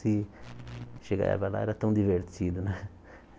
Se chegava lá, era tão divertido, né?